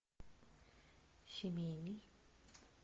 семейный